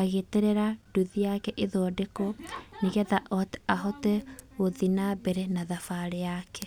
agĩeterera nduthi yake ĩthondekwo nĩgetha ahote gũthiĩ nambere na thabarĩ yake.